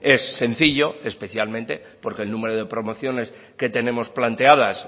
es sencillo especialmente porque el número de promociones que tenemos planteadas